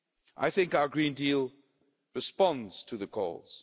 I think our Green Deal responds to the calls.